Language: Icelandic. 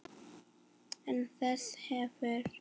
Án þess hefur